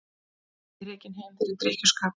Rekinn heim fyrir drykkjuskap